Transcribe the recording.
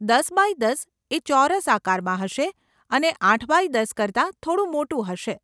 દસ બાય દસ એ ચોરસ આકારમાં હશે અને આઠ બાય દસ કરતાં થોડું મોટું હશે.